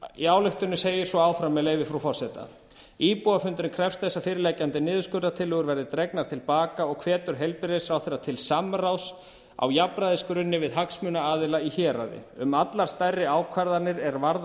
í ályktuninni segir svo áfram með leyfi frú forseta íbúafundurinn krefst þess að fyrirliggjandi niðurskurðartillögur verði dregnar til baka og hvetur heilbrigðisráðherra til samráðs á jafnræðisgrunni við hagsmunaaðila í héraði um allar stærri ákvarðanir er varða